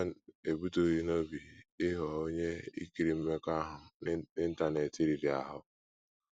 JOHN ebutụghị n’obi ịghọ onye ‘ ikiri mmekọahụ n’Intanet ’ riri ahụ́.